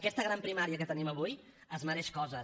aquesta gran primària que tenim avui es mereix coses